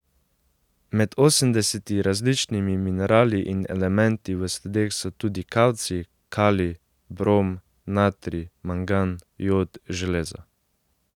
Med osemdeseti različnimi minerali in elementi v sledeh so tudi kalcij, kalij, brom, natrij, mangan, jod, železo.